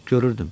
Görürdüm.